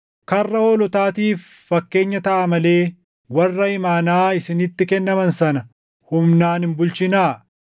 karra hoolotaatiif fakkeenya taʼaa malee warra imaanaa isinitti kennaman sana humnaan hin bulchinaa.